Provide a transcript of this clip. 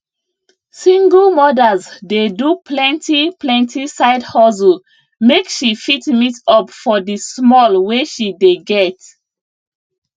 single mothers dey do plenti plenti side hustle make she fit meet up for di small wey she dey get